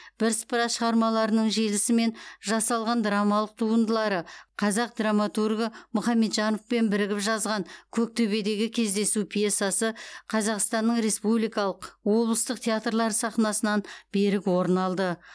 бірсыпыра шығармаларының желісімен жасалған драмалық туындылары қазақ драматургі мұхамеджановпен бірігіп жазған көктөбедегі кездесу пьесасы қазақстанның республикалық облыстық театрлары сахнасынан берік орын алды